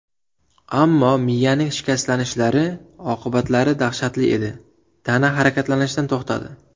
Ammo miyaning shikastlanishlari oqibatlari dahshatli edi, tana harakatlanishdan to‘xtadi.